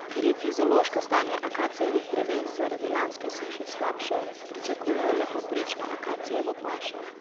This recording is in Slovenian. Ker je fizološko stanje akacijevih dreves zaradi lanske suše slabše, pričakujejo le povprečno akacijevo pašo.